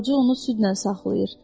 Qoca onu südlə saxlayır.